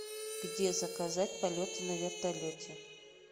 где заказать полет на вертолете